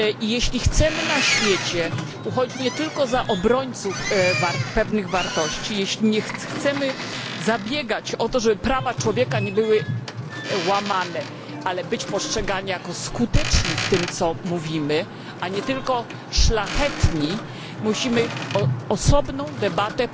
Jeśli chcemy na świecie uchodzić nie tylko za obrońców pewnych wartości, jeśli chcemy zabiegać, aby prawa człowieka nie były łamane, ale być postrzegani jako skuteczni w tym co mówimy, a nie tylko szlachetni, musimy odbyć osobną debatę